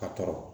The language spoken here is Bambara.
A tɔɔrɔ